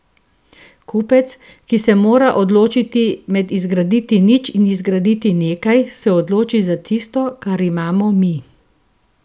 Kupec, ki se mora odločiti med izgraditi nič in izgraditi nekaj, se odloči za tisto, kar imamo mi.